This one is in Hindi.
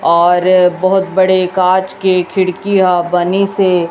और बहोत बड़े कांच के खिड़कियां बनी से--